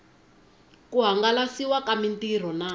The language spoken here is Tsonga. ku hangalasiwa ka mitirho na